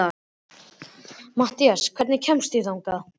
Mathías, hvernig kemst ég þangað?